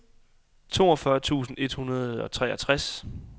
toogfyrre tusind et hundrede og treogtres